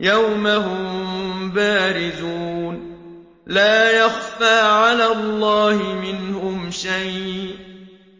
يَوْمَ هُم بَارِزُونَ ۖ لَا يَخْفَىٰ عَلَى اللَّهِ مِنْهُمْ شَيْءٌ ۚ